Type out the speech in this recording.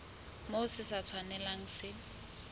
moo se sa tshwanelang se